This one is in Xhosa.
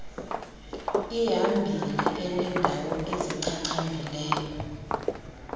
ihamile enendawo ezichachambileyo